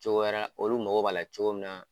Cogo wɛrɛ olu mago b'a la cogo min na.